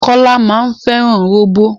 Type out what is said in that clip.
Kọ́lá máa fẹ́ràn róbó.